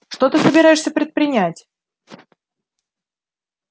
что ты собираешься предпринять